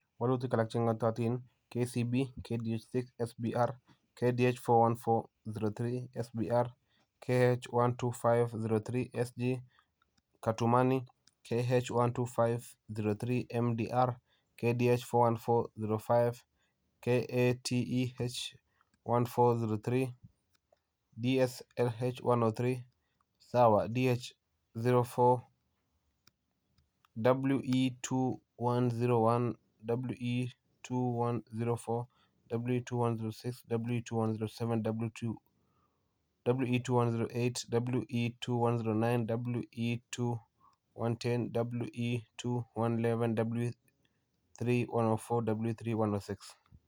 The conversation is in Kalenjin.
walutik alak che ng'atootin: KCB , KDH6 SBR, KDH414-03 SBR,KH125-03 SG Katumani, KH125-03 MDR, KDH414-05 , KATEH14-03, DSLH103 , SAWA, DH04, WE2101, WE2104, WE2106, WE2107, WE2108, WE2109, WE2110, WE2111, WE3104, WE3106.